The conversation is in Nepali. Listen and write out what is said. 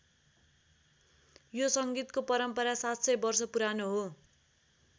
यो संगीतको परम्परा ७०० वर्ष पुरानो हो।